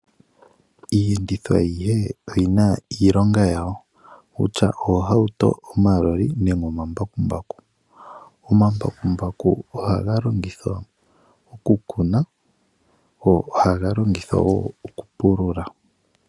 Iiyenditho ayihe oyi na iilonga yawo kutya oohauto, omaloli nenge omambakumbaku. Omambakumbaku ohaga longithwa oku kuna go ohaga longithwa wo okupulula.